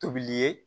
Tobili ye